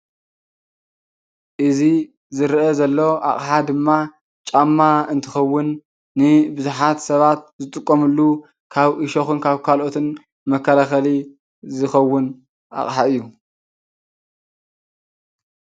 እዚ ዝረአ ዘሎ ኣቕሓ ድማ ጫማ እንትኸውን ንቡዝሐት ሰባት ዝጥቀሙሉ ካብ ዑሾኽን ካልኦትን መከላኸሊ ዝኸውን ኣቕሓ እዩ።